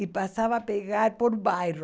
E passava a pegar por bairro.